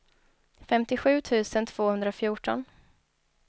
femtiosju tusen tvåhundrafjorton